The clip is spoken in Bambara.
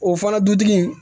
O fana dutigi